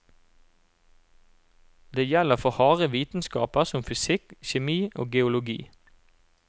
Det gjelder for harde vitenskaper som fysikk, kjemi og geologi.